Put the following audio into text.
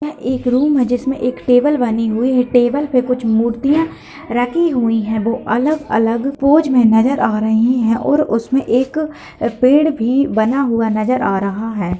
यह एक रूम है। जिसमे एक टेबल बनी हुई है टेबल पे कुछ मूर्तियां रखी हुई है वो अलग-अलग पोज में नजर आ रही हैं और उसमे एक एक पेड़ भी बना हुआ नजर आ रहा है।